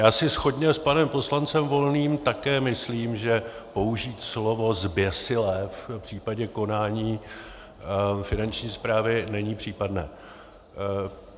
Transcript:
Já si shodně s panem poslancem Volným také myslím, že použít slovo zběsilé v případě konání Finanční správy není případné.